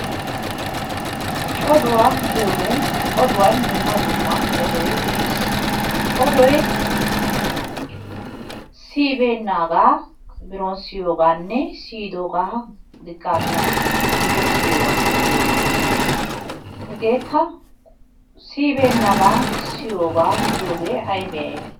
Oduwa giyogee oduwan dumma dumma odoy de'es. Odoy siyibeennaagaa biron siyiyogaanne siyidoogaa diggaamiya guyye siyiyoogaa giyogaa. Hegeekka siyibeennabaa siyiyoogaa giyogee ayibee ayibee?